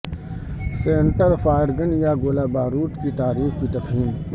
centre fire gun یا گولہ بارود کی تعریف کی تفہیم